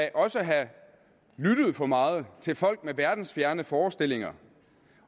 er også at have lyttet for meget til folk med verdensfjerne forestillinger